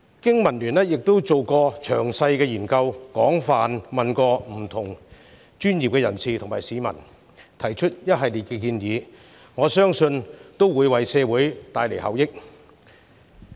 經民聯曾經進行詳細研究，廣泛諮詢各界專業人士及市民，並提出了一系列建議，我相信能為社會帶來效益。